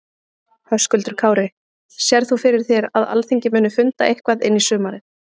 Höskuldur Kári: Sérð þú fyrir þér að Alþingi muni funda eitthvað inn í sumarið?